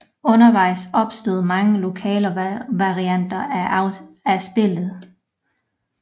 Undervejs opstod mange lokale varianter af spillet